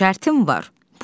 bir şərtim var.